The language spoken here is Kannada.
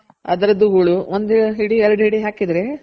ಅದ್ರುದು ಹೂಳ್ ಒಂದ್ ಹಿಡಿ ಎರಡು ಹಿಡಿ ಹಾಕಿದ್ರೆ